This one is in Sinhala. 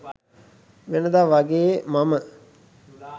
වෙනදා වගේ මම